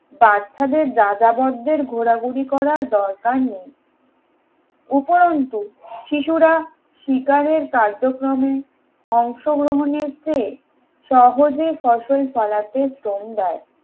বাচ্চাদের যাযাবরদের ঘোরাঘুরি করার দরকার নেই উপরন্তু শিশুরা শিকারের কার্যক্রমে অংশগ্রহণের চেয়ে সহজে ফসল ফলাতে শ্রম দেয়